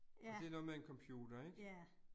Ja. Ja